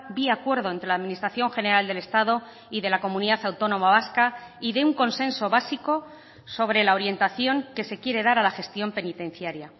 vía acuerdo entre la administración general del estado y de la comunidad autónoma vasca y de un consenso básico sobre la orientación que se quiere dar a la gestión penitenciaria